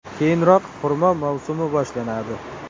Keyinroq, xurmo mavsumi boshlanadi.